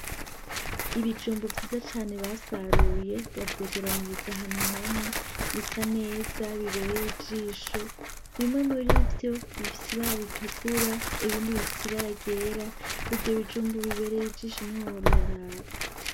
Ibijumbu vyiza cane basaruye bavyegeraniriza ahantu hamwe bisa neza, bibereye ijisho bimwe murivyo bifise ibara ritukura ibindi bifise ibara ryera ivyo bijumbu bibereye ijisho ntiwohora uraraba.